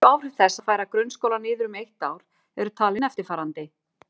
Helstu áhrif þess að færa grunnskóla niður um eitt ár eru talin eftirfarandi